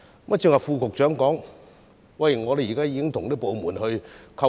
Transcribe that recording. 剛才副局長表示，已與相關部門溝通。